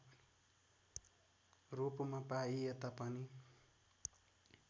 रूपमा पाइएता पनि